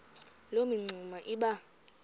loo mingxuma iba